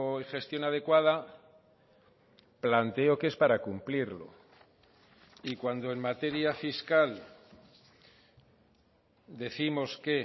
y gestión adecuada planteo que es para cumplirlo y cuando en materia fiscal décimos que